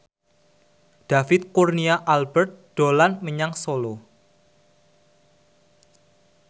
David Kurnia Albert dolan menyang Solo